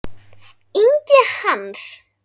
Ingi Hans.